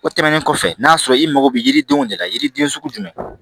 O tɛmɛnen kɔfɛ n'a sɔrɔ i mago bɛ yiridenw de la yiriden sugu jumɛn